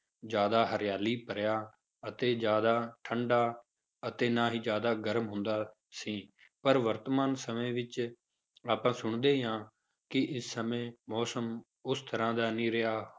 ਜ਼ਿਆਦਾ ਹਰਿਆਲੀ ਭਰਿਆ ਅਤੇ ਜ਼ਿਆਦਾ ਠੰਢਾ ਅਤੇ ਨਾ ਹੀ ਜ਼ਿਆਦਾ ਗਰਮ ਹੁੰਦਾ ਸੀ, ਪਰ ਵਰਤਮਾਨ ਸਮੇਂ ਵਿੱਚ ਆਪਾਂ ਸੁਣਦੇ ਹੀ ਹਾਂ ਕਿ ਇਸ ਸਮੇਂ ਮੌਸਮ ਉਸ ਤਰ੍ਹਾਂ ਦਾ ਨਹੀਂ ਰਿਹਾ,